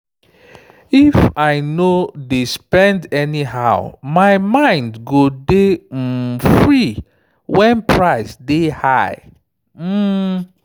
if i no dey spend anyhow my mind go dey um free when price dey high. um